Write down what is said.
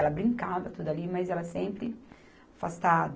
Ela brincava tudo ali, mas ela sempre afastada.